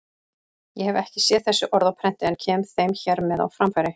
Ég hef ekki séð þessi orð á prenti en kem þeim hér með á framfæri.